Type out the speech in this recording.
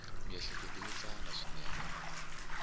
miehleketo yo tsana swinene ya